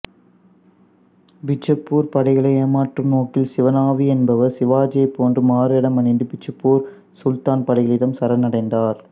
பிஜப்பூர் படைகளை ஏமாற்றும் நோக்கில் சிவ நாவி என்பவர் சிவாஜியைப் போன்று மாறுவேடம் அணிந்து பிஜப்ப்பூர் சுல்தான் படைகளிடம் சரணடைந்தார்